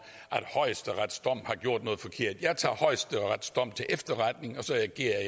at højesteretsdommen har gjort noget forkert jeg tager højesteretsdommen til efterretning og så agerer